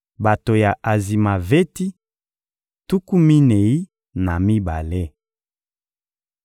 Bato ya Azimaveti: tuku minei na mibale.